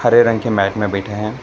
हरे रंग की मैट में बैठे हैं।